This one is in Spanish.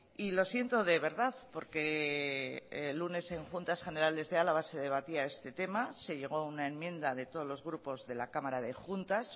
y lo siento de verdad porque el lunes en juntas generales de álava se debatía este tema se llegó a una enmienda de todos los grupos de la cámara de juntas